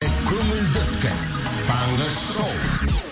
көңілді өткіз таңғы шоу